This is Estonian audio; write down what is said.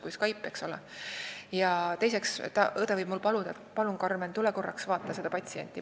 Õde võib ka mind kutsuda ja öelda, et palun, Karmen, tule korraks vaata seda patsienti.